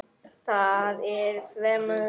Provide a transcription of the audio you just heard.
Það er fremur svalt.